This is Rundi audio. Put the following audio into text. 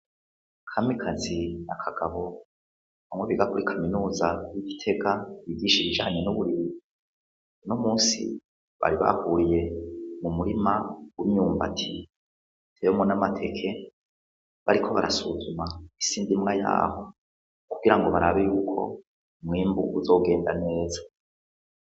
Kamikazi na Kagabo bamwe biga kuri kaminuza y'igitega yigisha ibijanye n'uburimyi uno munsi bari bahuriye mu murima w'imyumbati uteyemwo n'amateke bariko barasuzuma isi ndimwa yaho kugirango barabe yuko umwimbu uzogenda neza.